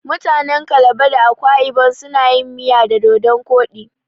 Mutanen calabar da akwa ibon suna yin miya da dodon koɗi.